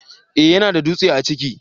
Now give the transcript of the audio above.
eh ya na da dutse a ciki